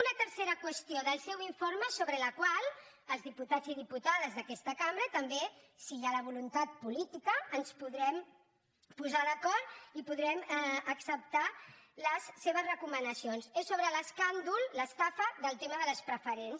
una tercera qüestió del seu informe sobre la qual els diputats i diputades d’aquesta cambra també si hi ha la voluntat política ens podrem posar d’acord i podrem acceptar les seves recomanacions és sobre l’escàndol l’estafa del tema de les preferents